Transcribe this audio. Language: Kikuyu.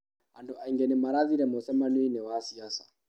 Andũ aingĩ nĩmarathire mũcemanioinĩ wa ciaca.